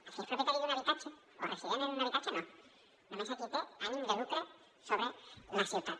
al que és propietari d’un habitatge o resident en un habitatge no només a qui té ànim de lucre sobre la ciutat